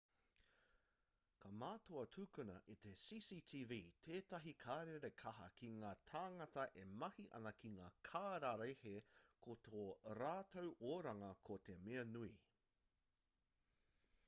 ka mātua tukuna e te cctv tētahi karere kaha ki ngā tāngata e mahi ana ki ngā kararehe ko tō rātou oranga ko te mea nui